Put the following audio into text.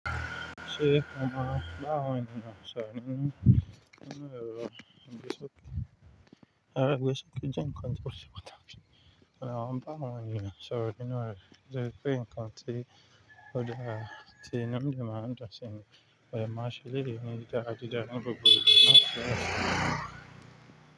Ṣé ó máa bá awọn eniyan ìṣọ́ro nínú ero igbesọkè? Ero igbesọkè jẹ́ ǹnkan tó se pataki. Mo de maa ba awọn eniyan soro nínú re nitori pe nǹkan tí ó dára tí inu mi de maa dun sí ni. Ọ̀ de maa ṣe eleyii ni di dara dára ni gbogbo igba naa.